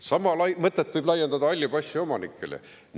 Sama mõtet võib laiendada halli passi omanikele.